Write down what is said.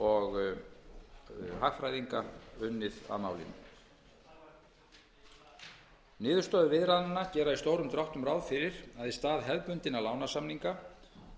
og hagfræðinga unnið að málinu niðurstöður viðræðnanna gera í stórum dráttum ráð fyrir að í stað hefðbundinna lánasamninga